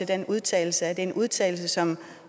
den udtalelse er det en udtalelse som